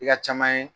I ka caman ye